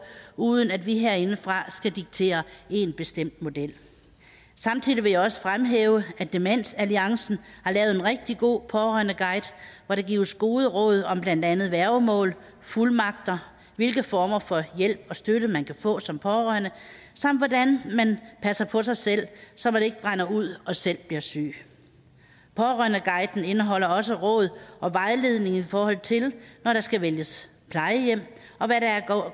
uden at vi herindefra skal diktere én bestemt model samtidig vil jeg også fremhæve at demensalliancen har lavet en rigtig god pårørendeguide hvor der gives gode råd om blandt andet værgemål fuldmagter hvilke former for hjælp og støtte man kan få som pårørende samt hvordan man passer på sig selv så man ikke brænder ud og selv bliver syg pårørendeguiden indeholder også råd og vejledning i forhold til når der skal vælges plejehjem